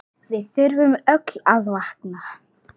Við þurfum öll að vakna!